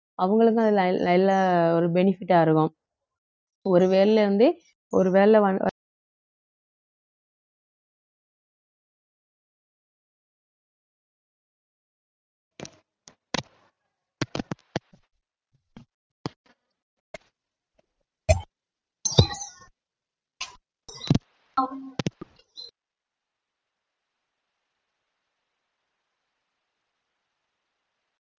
அவங்களுக்கும் அதுல ஒரு benefit ஆ இருக்கும் ஒருவேளை இருந்து ஒருவேளை வ~